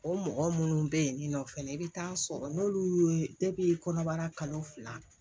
O mɔgɔ minnu bɛ yen nin nɔ fɛnɛ i bɛ taa sɔrɔ n'olu y'o ye kɔnɔbara kalo fila